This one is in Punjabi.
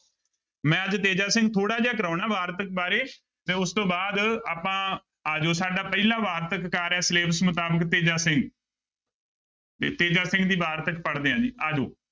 ਮੈਂ ਅੱਜ ਤੇਜਾ ਸਿੰਘ ਥੋੜ੍ਹਾ ਜਿਹਾ ਕਰਵਾਉਣਾ ਵਾਰਤਕ ਬਾਰੇ ਤੇ ਉਸ ਤੋਂ ਬਾਅਦ ਆਪਾਂ ਆ ਜਾਓ ਸਾਡਾ ਪਹਿਲਾ ਵਾਰਤਕਾਰ ਹੈ syllabus ਮੁਤਾਬਿਕ ਤੇਜਾ ਸਿੰਘ ਤੇ ਤੇਜਾ ਸਿੰਘ ਦੀ ਵਾਰਤਕ ਪੜ੍ਹਦੇ ਹਾਂ ਜੀ ਆ ਜਾਓ।